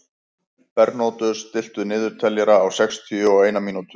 Bernódus, stilltu niðurteljara á sextíu og eina mínútur.